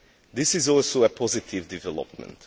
This is also a positive development.